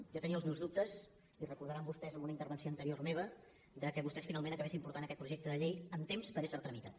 jo tenia els meus dubtes i ho recordaran vostès en una intervenció anterior meva que vostès finalment acabessin portant aquest projecte de llei amb temps per ésser tramitat